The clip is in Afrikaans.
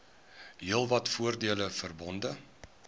heelwat voordele verbonde